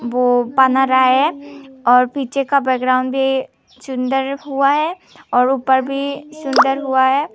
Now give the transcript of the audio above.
वो बन रहा है और पीछे का बैकग्राउंड भी सुंदर हुआ है और ऊपर भी सुंदर हुआ है।